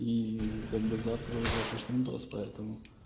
и как бы завтра уже шашлындос поэтому